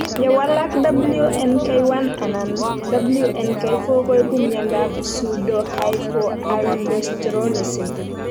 Ye walak WNK1 anan WNK4 koipu miondop pseudohypoaldosteronism